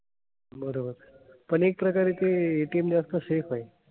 बरोबर. पण एक प्रकारे ते ATM जास्त safe आहे.